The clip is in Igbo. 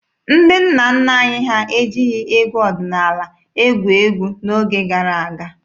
Ndị nna nna anyị ha ejighị egwu ọdịnaala egwu egwu n'oge gara aga.